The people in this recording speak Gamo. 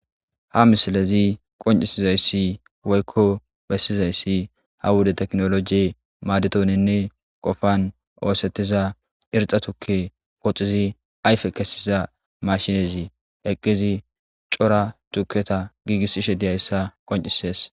ha misilezi qoncisizayssi woykko bessizayssi ha wude teknoloji maadetoninne qofan oosettiza irxa tukke goxizi ayfe kesiza mashinezi eqqizi cora tuketa giigissishe diyayssa qoncisees